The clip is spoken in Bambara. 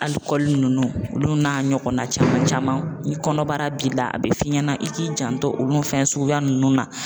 Alikɔli nunnu olu n'a ɲɔgɔnna caman caman, ni kɔnɔbara b'i la a bɛ f'i ɲɛna i k'i janto olu fɛn suguya nunnu na.